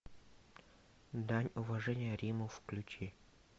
дань уважения риму включи